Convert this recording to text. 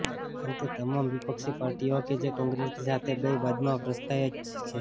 અંતે તમામ વિપક્ષી પાર્ટીઓ કે જે કોંગ્રેસની સાથે ગઈ બાદમાં પસ્તાય જ છે